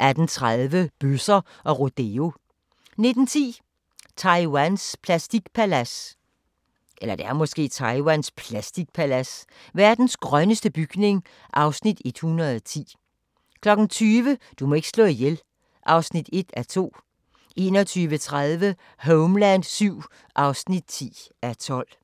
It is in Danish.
18:30: Bøsser og rodeo 19:10: Taiwans plastikpalads: Verdens grønneste bygning (Afs. 110) 20:00: Du må ikke slå ihjel (1:2) 21:30: Homeland VII (10:12)